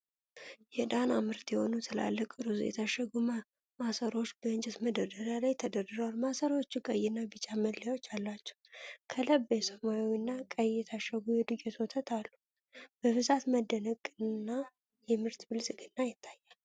የዳና ምርት የሆኑ ትላልቅ ሩዝ የታሸጉ ማሰሮዎች በእንጨት መደርደሪያ ላይ ተደርድረዋል። ማሰሮዎቹ ቀይና ቢጫ መለያዎች አሏቸው። ከላይ በሰማያዊና ቀይ የታሸገ የዱቄት ወተት አሉ። የብዛት መደነቅና የምርት ብልጽግና ይታያል።